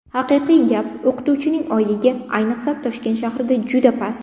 Haqiqiy gap, o‘qituvchining oyligi, ayniqsa, Toshkent shahrida juda past.